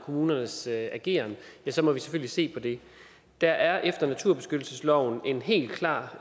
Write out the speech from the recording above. kommunernes ageren ja så må vi selvfølgelig se på det der er i naturbeskyttelsesloven en helt klar